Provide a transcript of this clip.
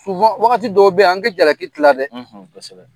wagati dɔw bɛ ye an ka jalaki tila dɛ, kosɛbɛ.